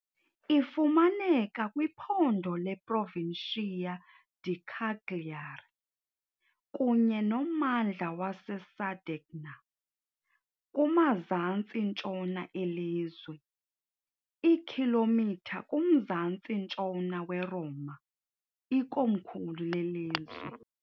Ifumaneka kwiphondo leProvincia di Cagliari kunye nommandla waseSardegna, kumazantsi-ntshona elizwe, iikhilomitha kumzantsi-ntshona weRoma, ikomkhulu lelizwe.